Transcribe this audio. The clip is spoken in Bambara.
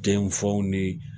Den faw ni